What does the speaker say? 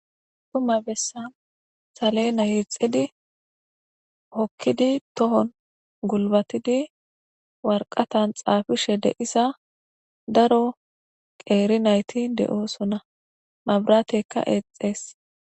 Duma bessan saleena hiixedi hokkidi tohon gulbatidi warqatan xaafishe deisa daro qeeri nayti de7osona mabratekka eexees